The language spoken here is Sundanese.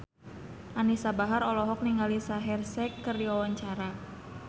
Anisa Bahar olohok ningali Shaheer Sheikh keur diwawancara